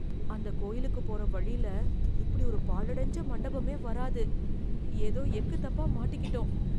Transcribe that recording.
அந்த கோயிலுக்குப் போற வழில இப்படி ஒரு பாழடைஞ்ச மண்டபமே வராது. எதோ எக்குத்தப்பா மாட்டிகிட்டோம்.